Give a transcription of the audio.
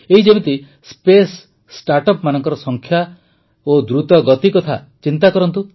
ଏଇ ଯେମିତି ସ୍ପେସ୍ ଷ୍ଟାର୍ଟଅପ୍ସମାନଙ୍କର ସଂଖ୍ୟା ଓ ଦ୍ରୁତ ଗତି କଥା ଚିନ୍ତା କରନ୍ତୁ